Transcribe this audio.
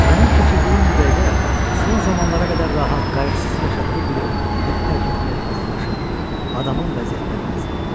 Mənim keçirdiyim bu dəqiqə son zamanlara qədər rahat, qayğısız yaşadığı bir evi əbədi tərk etməyə hazırlaşan adamın vəziyyətinə bənzəyirdi.